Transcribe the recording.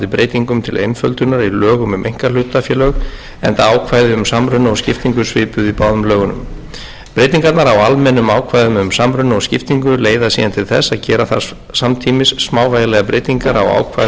breytingum til einföldunar í lögum um einkahlutafélög enda ákvæði um samruna og skiptingu svipuð í báðum lögunum breytingarnar á almennum ákvæðum um samruna og skiptingu leiða síðan til þess að gera þarf samtímis smávægilegar breytingar á ákvæðum framangreindra